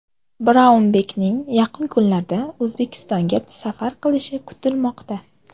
Braunbekning yaqin kunlarda O‘zbekistonga safar qilishi kutilmoqda.